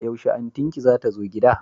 Yaushe antin ki zata zo gida?